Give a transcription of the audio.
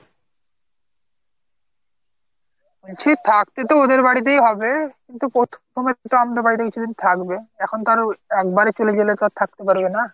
বলছি থাকতে তো ওদের বাড়িতেই হবে কিন্তু প্রথম প্রথম তো আমাদের বাড়িতে কিছুদিন থাকবে। এখন তো আরো একেবারেই চলে গেলে তো আর থাকতে পারবে না।